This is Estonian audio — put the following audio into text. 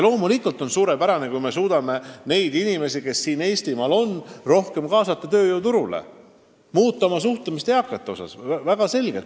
Loomulikult on suurepärane, kui me suudame ka vanemaid inimesi, kes siin Eestimaal on, rohkem tööjõuturule kaasata ja oma suhtumist eakatesse muuta.